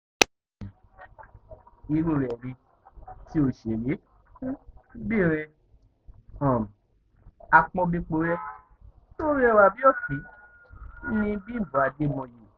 um irú rẹ̀ ni ti òṣèré-bìnrin um àpọ́nbéporé tó rẹwà bíi òkín ni bímbọ àdèmóye